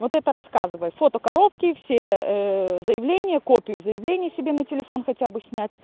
вот это рассказывай фото коробки все заявления копию заявления себе на телефон хотя бы снять